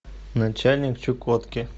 начальник чукотки